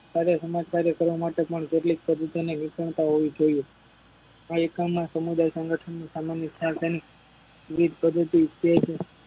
હારે સમજદારી કરવામાટે પણ કેટલીક વિષમતા હોવી જોઈએ આ એકમમાં સમુદાય સ્નગથની સામાન્ય ખ્યાલ તેની વિવિધ પધ્ધતિ તેજ